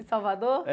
Em Salvador?